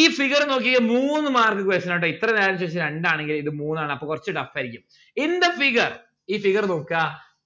ഈ figure നോക്കിക്കേ മൂന്ന് mark question ആ ട്ടോ ഇത്ര രണ്ടു ആണെണെങ്കി ഇത് മൂന്ന് ആണ് അപ്പൊ കൊറച്ച് tough ആയിരിക്കും in the figure ഈ figure നോക്ക